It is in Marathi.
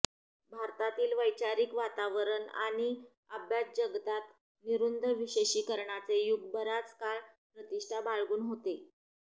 भारतातील वैचारिक वातावरणात आणि अभ्यासजगतात निरुंद विशेषीकरणाचे युग बराच काळ प्रतिष्ठा बाळगून होते